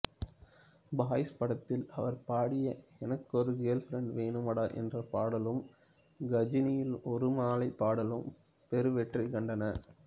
boys படத்தில் அவர் பாடிய எனக்கொரு கெர்ல்பிரண்ட் வேணுமடா என்ற பாடலும் கஜினியில் ஒரு மாலை பாடலும் பெருவெற்றி கண்டன